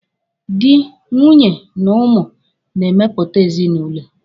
Dị, nwunye na ụmụ na-emepụta ezinụlọ.